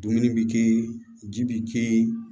Dumuni bɛ kɛ yen ji bɛ kɛ yen